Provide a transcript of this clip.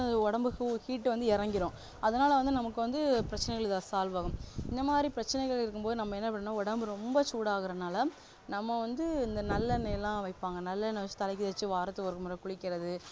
உடம்பு heat வந்து இறங்கிடும் அதனால வந்து நமக்கு வந்து பிரச்சனைகள் solve ஆகும் இந்தமாதிரி பிரச்சனைகள் இருக்கும் போது நம்ம என்ன பண்ணணும்னா உடம்பு ரொம்ப சூடாகுறதுனால நம்ம வந்து இந்த நல்லெண்ணெய் எல்லாம் வைப்பாங்க நல்லெண்ணெய் எல்லாம் தலைக்கு வச்சு வாரத்துக்கு ஒரு முறை குளிக்குறது